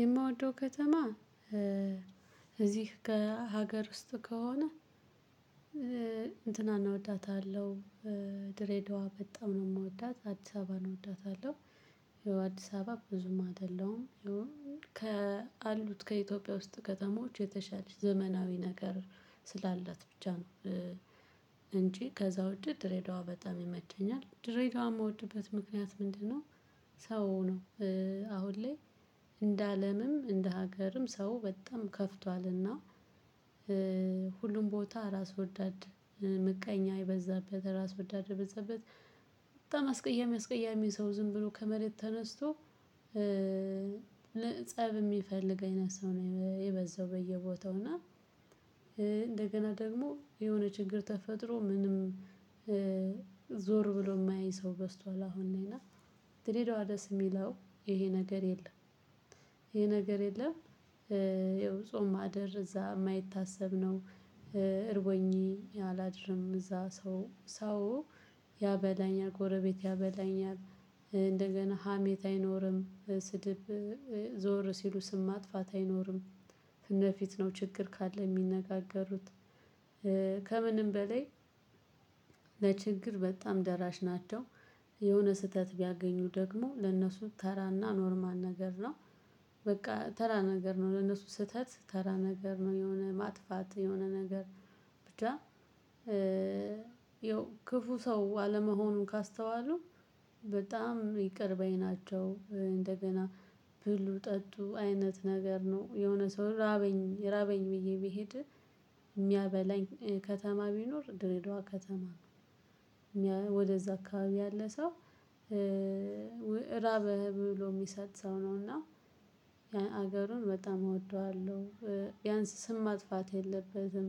የምወደው ከተማ እዚህ ከሀገር ውስጥ ከሆነ እንትናን እወዳታለሁ። ድሬዳዋ በጣም ነው የምወዳት አዲስ አባን እወዳታለሁ። ይኸው አዲስ አበባ ብዙም አይደለሁም ይኸው ከአሉት ከኢትዮጵያ ውስጥ ከተሞች የተሻለች ዘመናዊ ነገር ስላላት ብቻ ነው። እንጂ ከዛ ውጪ ድሬዳዋ በጣም ይመቸኛል ድሬዳዋ የምወድበት ምክንያት ምንድነው? ሰው ነው አሁን ላይ እንደ አለምም እንደ ሀገርም ሰው በጣም ከፍቷልና። ሁሉም ቦታ ራስ ወዳድ ምቀኛ የበዛበት እራስ ወዳድ የበዛበት። በጣም አስቀያሚ አስቀያሚ ሰው ዝም ብሎ ከመሬት ተነስቶ። ለፀብ የሚፈልግ አይነት ሰው ነው የበዛው በየቦታው እና እንደገና ደግሞ የሆነ ችግር ተፈጥሮ ምንም ዞር ብሎ የማየኝ ሰው በዝቷል። አሁን እኔና ድሬዳዋ ደስ የሚለው ይሄ ነገር የለም። ይሄ ነገር የለም። ይኸው ጾም ማደር እዛ የማይታሰብ ነው። እርቦኜ አላድርም እዛ ሰው ሰው ያበላኛል ጎረቤት ያበላኛል። እንደገና ሀሜት አይኖርም ስድብ ዞር ሲሉ ስም ማጥፋት አይኖርም። ፍለፊት ነው ችግር ካለ የሚነጋገሩት ከምንም በላይ ለችግር በጣም ደራሽ ናቸው። የሆነ ስህተት ቢያገኙ ደግሞ ለእነሱ ተራና ኖርማል ነገር ነው። በቃ ተራ ነገር ነው ለነሱ ስህተት ተራ ነገር ነው የሆነ ማጥፋት የሆነ ነገር ብቻ። ያው ክፉ ሰው አለመሆኑን ካስተዋሉ በጣም ይቅር በይ ናቸው። እንደገና ብሉ ጠጡ አይነት ነገር ነው የሆነ ሰው ራበኝ ራበኝ ብዬ ብሄድ የሚያበላኝ ከተማ ቢኖር ድሬዳዋ ከተማ ነው። ወደዛ አካባቢ ያለ ሰው ራበህ ብሎ የሚሰጥ ሰው ነው እና ሀገሩን በጣም እወደዋለሁ። ቢያንስ ስም ማጥፋት የለበትም።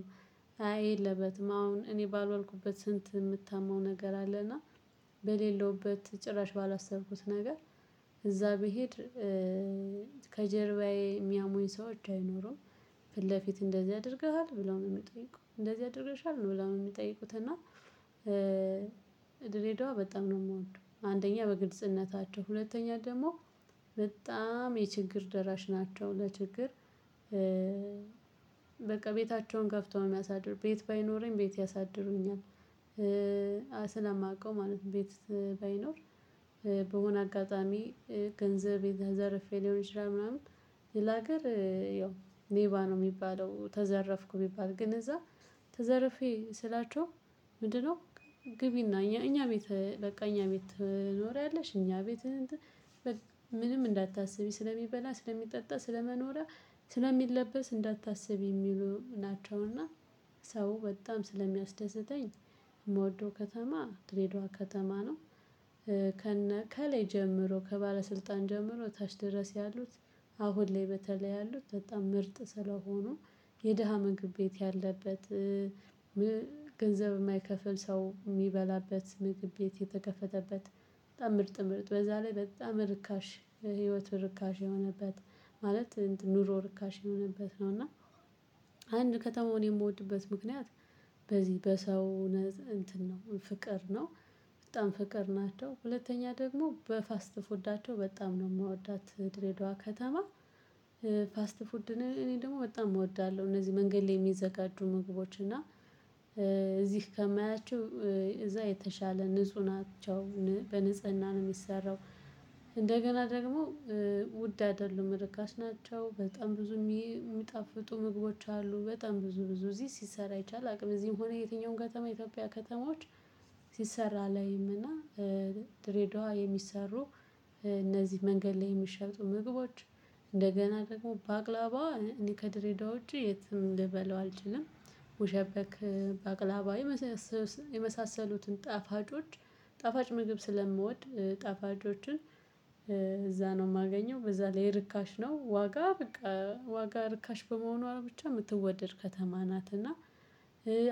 አይ የለበትም አሁን እኔ ባልዋልኩበት ስንት የምታማው ነገር አለና። በሌለውበት ጭራሽ ባላሰብኩት ነገር እዛ ብሄድ ከጀርባዬ የሚያሞኝ ሰዎች አይኖረውም። ፍለፊት እንደዚህ ያደርግሃል ብላውን የሚጠይቁ እንደዚህ ያደርግሻል ነው ብላውን የሚጠይቁት እና። ድሬዳዋ በጣም ነው የምወደው። አንደኛ በግልጽነታቸው ሁለተኛ ደግሞ በጣም የችግር ደራሽ ናቸው ለችግር በቃ ቤታቸውን ከፍተው ነው የሚያሳድሩ ቤት ባይኖረኝ ቤት ያሳድሩኛል። ስለማውቀው ማለት ነው። ቤት ባይኖር በሆነ አጋጣሚ ገንዘብ የተዘረፌ ሊሆን ይችላል ምናምን ሌላ ሀገር ያው ሌባ ነው የሚባለው ተዘረፍኩ ቢባል ግን እዛ ተዘርፌ ስላቸው ምንድነው? ግቢና እኛ እኛ ቤት በቃ እኛ ቤት ትኖሪያለሽ እኛ ቤት እትን ምንም እንዳታስቢ ስለሚበላ ስለሚጠጣ ስለመኖሪያ ስለሚለበስ እንዳታስቢ የሚሉ ናቸውና። ሰው በጣም ስለሚያስደስተኝ የምወደው ከተማ ድሬድዋ ከተማ ነው። ከነ ከላይ ጀምሮ ከባለስልጣን ጀምሮ ታች ድረስ ያሉት አሁን ላይ በተለይ ያሉት በጣም ምርጥ ስለሆኑ የደሃ ምግብ ቤት ያለበት። ገንዘብ የማይከፍል ሰው የሚበላበት ምግብ ቤት የተከፈተበት በጣም ምርጥ ምርጥ በዛ ላይ በጣም ርካሽ ለህይወት ርካሽ የሆነበት ማለት ኑሮ ርካሽ የሆነበት ነው። እና አንድ ከተማውን የምወድበት ምክንያት በዚህ በሰው እንትን ነው ፍቅር ነው። በጣም ፍቅር ናቸው ሁለተኛ ደግሞ በፋስት ፉዳቸው በጣም ነው የምወዳት ድሬዳዋ ከተማ። ፋስት ፉድ እኔ ደግሞ በጣም እወዳለሁ እነዚህ መንገድ ላይ የሚዘጋጁ ምግቦች እና። እዚህ ከማያቸው እዛ የተሻለ ንጹህ ናቸው በንጽህና ነው የሚሰራው። እንደገና ደግሞ ውድ አይደሉም ርካሽ ናቸው በጣም ብዙ የሚጣፍጡ ምግቦች አሉ። በጣም ብዙ ብዙ እዚህ ሲሰራ አይቻል አቅም እዚህም ሆነ የትኛውም ከተማ ኢትዮጵያ ከተማዎች ሲሰራ አላይም እና። ድሬዳዋ የሚሰሩ እነዚህ መንገድ ላይ የሚሸጡ ምግቦች እንደገና ደግሞ ባቅላባ እኔ ከድሬዳው ውጪ የትም ልበለው አልችልም። ሙሸበክ ባቅላባ የመሳሰሉትን የመሳሰሉትን ጣፋጮች ጣፋጭ ምግብ ስለምወድ ጣፋጮችን እዛ ነው የማገኘው በዛ ላይ ርካሽ ነው። ዋጋ ርካሽ በመሆኗ ብቻ የምትወደድ ከተማ ናት። እና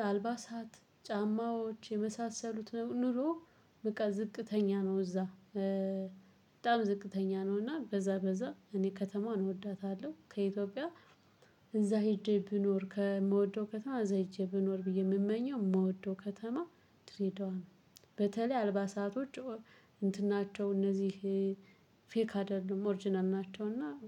አልባሳት ጫማዎች የመሳሰሉት ኑሮ በቃ ዝቅተኛ ነው እዛ በጣም ዝቅተኛ ነው እና በዛ በዛ እኔ ከተማውን እወዳታለሁ ከኢትዮጵያ እዛ ሄጄ ብኖር ከምወደው ከተማ እዛ ሄጄ ብኖር ብዬ የምመኘው የምወደው ከተማ ድሬዳዋ ነው። በተለይ አልባሳቶች እንትን ናቸው እነዚህ ፌክ አይደሉም ኦርጅናል ናቸው። እና